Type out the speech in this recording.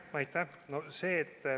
Aitäh!